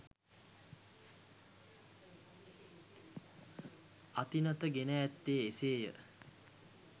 අතිනත ගෙන ඇත්තේ එසේය.